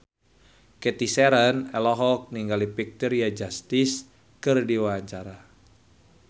Cathy Sharon olohok ningali Victoria Justice keur diwawancara